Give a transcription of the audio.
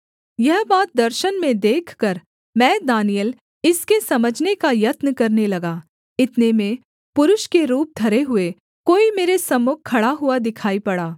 यह बात दर्शन में देखकर मैं दानिय्येल इसके समझने का यत्न करने लगा इतने में पुरुष के रूप धरे हुए कोई मेरे सम्मुख खड़ा हुआ दिखाई पड़ा